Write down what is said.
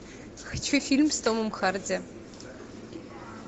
хочу фильм с томом харди